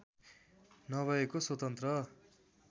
नभएको स्वतन्त्र